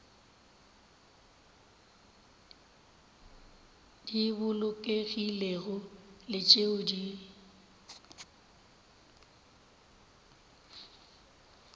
di bolokegilego le tšeo di